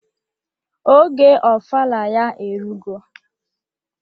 Oge ofala ya erugo.